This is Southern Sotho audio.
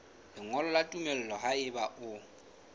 lengolo la tumello haeba o